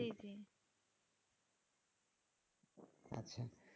জি জি